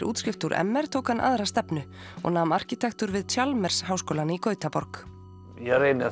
útskrift úr m r tók hann aðra stefnu og nam arkitektúr við háskólann í Gautaborg ég reyni